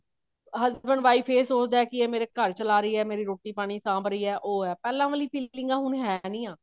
husband wife ਇਹ ਸੋਚਦਾ ਕੇ ਮੇਰੀ ਰੋਟੀ ਪਾਣੀ ਸਾਂਭ ਰਹੀ ਹੈ ਉਹ ਹੈ ਪਹਿਲਾਂ ਵਾਲੀ ਫੀਲਿੰਗਾ ਹੁਣ ਹੈ ਨਹੀਂ ਆ